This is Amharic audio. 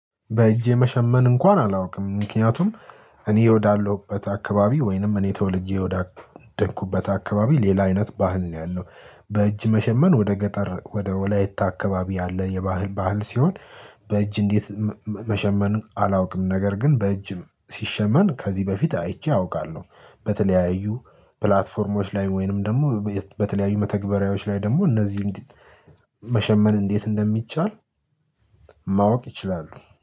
በእጄ መሸመን እንኳን አላውቅም ምክንያቱም እኔ ወዳለሁበት አካባቢ ወይንም እኔ ተወልጄ ወዳደኩበት አካባቢ ሌላ አይነት ባህል ነው ያለው። በእጅ መሸመን ወደ ገጠር ወደ ወላይታ አካባቢ ያለ የባህል ባህል ሲሆን። በእጅ እንዴት መሸመን አላውቅም ነገር ግን በእጅ ሲሸመን ከዚህ በፊት አይቼ አውቃለሁ። በተለያዩ ፕላትፎርሞች ላይ ወይንም ደግሞ በተለያዩ መተግበሪያዎች ላይ ደግሞ እነዚህ መሸመን እንዴት እንደሚቻል? ማወቅ ይችላሉ